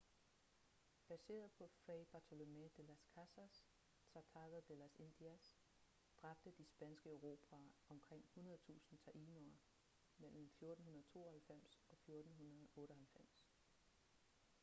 baseret på fray bartolomé de las casas tratado de las indias dræbte de spanske erobrere omkring 100.000 taínoer mellem 1492 og 1498